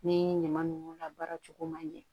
Ni ɲama nunnu labaara cogo man ɲɛ